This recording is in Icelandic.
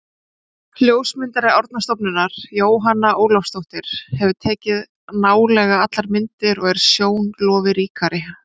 Ljósmyndari Árnastofnunar, Jóhanna Ólafsdóttir, hefur tekið nálega allar myndir, og er sjón lofi ríkari.